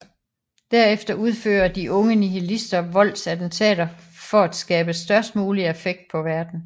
Derefter udfører de unge nihilistister voldsattentater for at skabe størst mulig affekt på verden